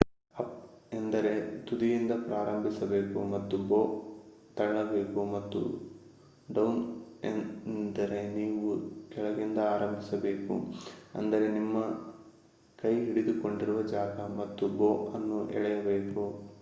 up ಎಂದರೆ ನೀವು ತುದಿಯಿಂದ ಪ್ರಾರಂಭಿಸಬೇಕು ಮತ್ತು ಬೋ ಅನ್ನು ತಳ್ಳಬೇಕು ಹಾಗೂ ಡೌನ್ ಎಂದರೆ ನೀವು ಕೆಳಗಿಂದ ಆರಂಭಿಸಬೇಕು ಅಂದರೆ ನಿಮ್ಮ ಕೈ ಹಿಡಿದುಕೊಂದಿರುವ ಜಾಗ ಮತ್ತು ಬೋ ಅನ್ನು ಎಳೆಯಬೇಕು